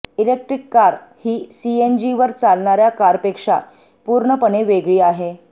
electric car ही सीएनजीवर चालणाऱ्या कारपेक्षा पूर्णपणे वेगळी आहे